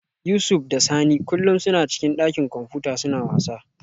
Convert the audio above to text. Yusuf da Sani kullum suna cikin dakin kwamfuta suna wasa